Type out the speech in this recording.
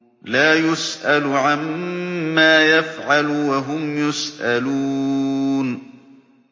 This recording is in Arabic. لَا يُسْأَلُ عَمَّا يَفْعَلُ وَهُمْ يُسْأَلُونَ